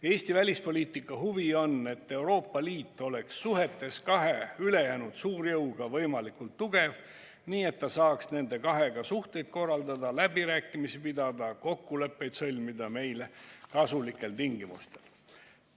Eesti välispoliitika huvi on, et Euroopa Liit oleks suhetes kahe ülejäänud suurjõuga võimalikult tugev, nii et ta saaks nende kahega suhteid korraldada, läbirääkimisi pidada ja kokkuleppeid sõlmida meile kasulikel tingimustel.